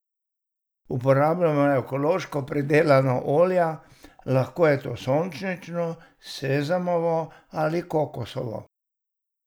Uporabljamo ekološko pridelana olja, lahko je to sončnično, sezamovo ali kokosovo.